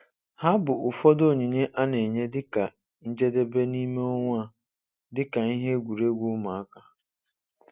Ha bụ ụfọdụ onyinye a na-enye dị ka njedebe n'ime onwe ha, dị ka ihe egwuregwu ụmụaka.